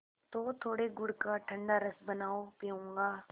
तो थोड़े गुड़ का ठंडा रस बनाओ पीऊँगा